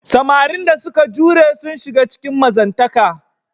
Samarin da suka jure sun shiga cikin mazantaka.